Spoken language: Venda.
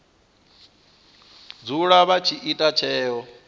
dzula vha tshi ita tsheo